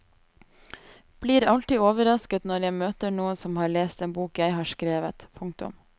Blir alltid overrasket når jeg møter noen som har lest en bok jeg har skrevet. punktum